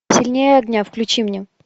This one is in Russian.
сильнее огня включи мне